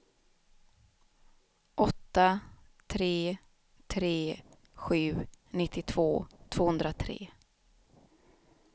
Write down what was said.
åtta tre tre sju nittiotvå tvåhundratre